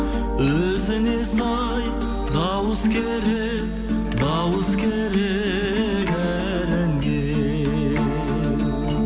өзіне сай дауыс керек дауыс керек әр әнге